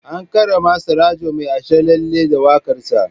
An karrama Surajo Mai Asharalle da waƙarsa.